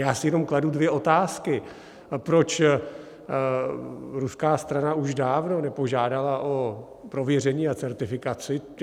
Já si jenom kladu dvě otázky, proč ruská strana už dávno nepožádala o prověření a certifikaci.